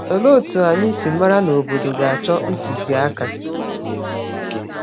Olee otú anyị si mara na obodo ga-achọ ntụziaka?